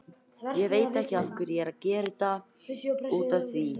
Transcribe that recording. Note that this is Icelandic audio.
Hvað þýðir það í þessu samhengi og hver er uppruni þess?